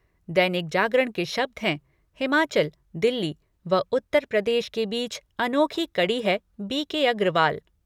दैनिक जागरण के शब्द हैं हिमाचल, दिल्ली व उत्तर प्रदेश के बीच अनोखी कड़ी है बी के अग्रवाल।